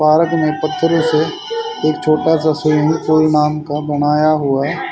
park में पत्थरों से एक छोटा सा स्विमिंग पूल नाम का बनाया हुआ--